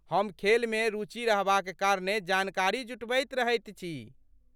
हम खेलमे रुचि रहबाक कारणेँ जानकारी जुटबैत रहैत छी।